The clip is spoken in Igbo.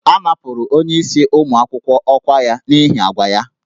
A napụrụ onyeisi ụmụ akwụkwọ ọkwa ya n'ihi àgwà ya